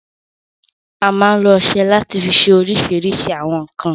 A máa n lo ọsẹ lati fi ṣe oríṣìíríṣìí àwọn nkan